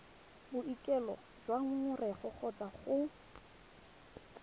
boikuelo jwa ngongorego kgotsa go